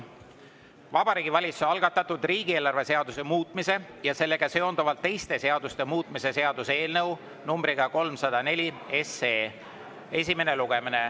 Vabariigi Valitsuse algatatud riigieelarve seaduse muutmise ja sellega seonduvalt teiste seaduste muutmise seaduse eelnõu numbriga 304 esimene lugemine.